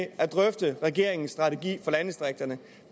at drøfte regeringens strategi for landdistrikterne